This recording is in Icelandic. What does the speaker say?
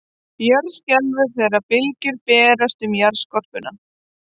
Jörð skelfur þegar bylgjur berast um jarðskorpuna.